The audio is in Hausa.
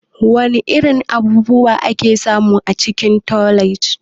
Wana irin abubuwa ake samu a cikin otal?